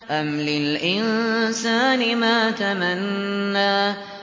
أَمْ لِلْإِنسَانِ مَا تَمَنَّىٰ